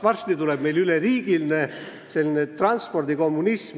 Varsti tuleb meil üleriigiline transpordikommunism.